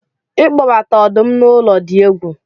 ịkpọbata ọdụm na ụlọ dị egwu